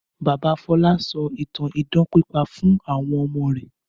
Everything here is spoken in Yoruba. Bàbá Fọlá sọ ìtàn idán pípa fún àwọn ọmọ rẹ̀.